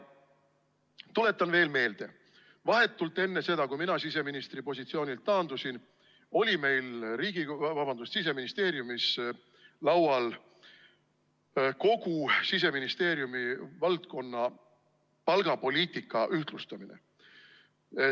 Tuletan veel meelde: vahetult enne seda, kui mina siseministri positsioonilt taandusin, oli meil Siseministeeriumis laual kogu Siseministeeriumi valdkonna palgapoliitika ühtlustamine.